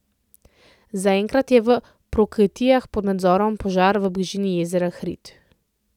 Zaenkrat je v Prokletijah pod nadzorom požar v bližini jezera Hrid.